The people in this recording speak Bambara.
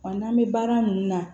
Wa n'an bɛ baara mun na